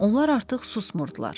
Onlar artıq susmurdular.